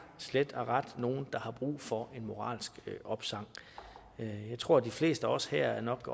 slet og ret nogle der har brug for en moralsk opsang jeg tror de fleste af os her nok